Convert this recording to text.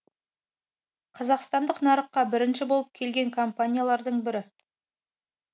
қазақстандық нарыққа бірінші болып келген компаниялардың бірі